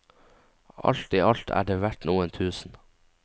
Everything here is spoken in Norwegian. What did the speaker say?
Alt i alt er det verdt noen tusen.